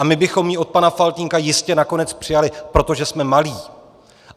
A my bychom ji od pana Faltýnka jistě nakonec přijali, protože jsme malí.